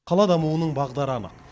қала дамуының бағдары анық